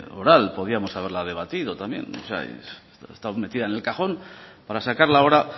oral podíamos haberla debatido también ha estado metida en el cajón para sacarla ahora